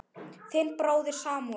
Þinn bróðir Samúel.